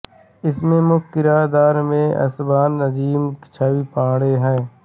इसमें मुख्य किरदार में शहबान अज़ीम और छवि पांडे हैं